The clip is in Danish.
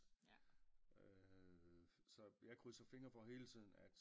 Så jeg krydser fingre for hele tiden at